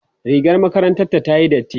rigar makarantar ta tayi dati